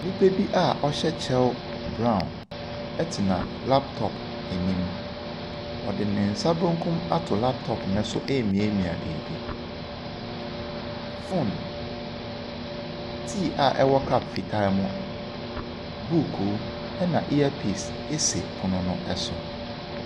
Nnipa bi a ɔhyɛ kyɛw brown tena laptop anim. Ɔde ne nsa benkum ato laptop no so remiamia biribi. Phone, tea a ɛwɔ cup fitaa mu, bukuu ɛnna earpiece si pono no so.